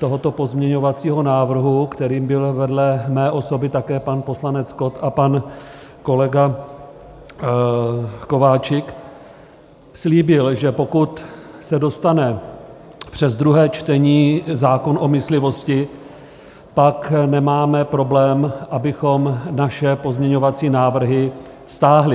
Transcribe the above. tohoto pozměňovacího návrhu, kterým byl vedle mé osoby také pan poslanec Kott a pan kolega Kováčik, slíbil, že pokud se dostane přes druhé čtení zákon o myslivosti, tak nemáme problém, abychom naše pozměňovací návrhy stáhli.